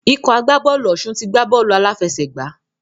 Ikọ̀ agbábọ̀ọ̀lù Ọ̀ṣun ti gbá bọ́ọ̀lù aláfẹ̀sẹgbà.